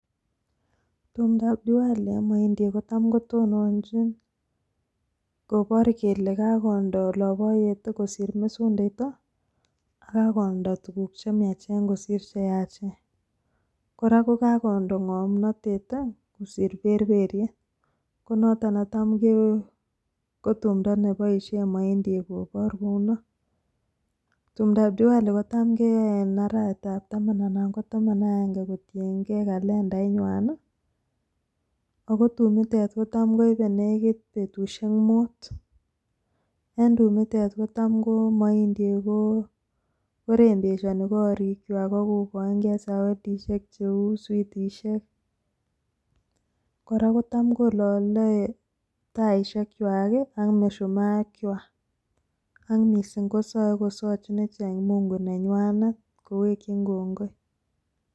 Kotam kotononcjiin kopar Kole kakondo ngamnatet kosir perperyet akotam koipeee petishek chechang Tam kolaleee taishek AK misumaa ik wak akosae ( Mungu) nenywanet